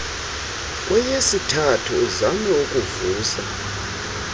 kweyesithathu uzame ukuvusa